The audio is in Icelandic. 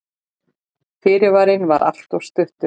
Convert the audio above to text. Fyrirvarinn var alltof stuttur.